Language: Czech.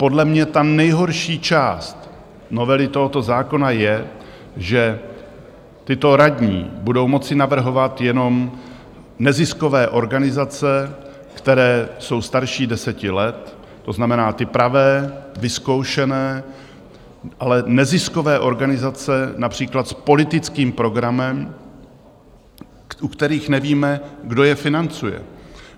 Podle mě ta nejhorší část novely tohoto zákona je, že tyto radní budou moci navrhovat jenom neziskové organizace, které jsou starší deseti let, to znamená ty pravé, vyzkoušené, ale neziskové organizace například s politickým programem, u kterých nevíme, kdo je financuje.